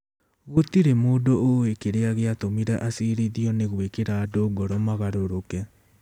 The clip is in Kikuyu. Gũtirĩ mũndũ ũĩ kĩrĩa gĩatũmire acirithio nĩ gwĩkĩra andũ ngoro magarũrũke.